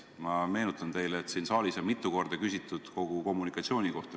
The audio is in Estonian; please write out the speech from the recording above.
Ma meenutan teile, et siin saalis on mitu korda küsitud kogu kommunikatsiooni kohta.